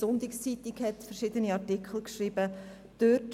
Auch die «Sonntagszeitung» hat verschiedene Beiträge veröffentlicht.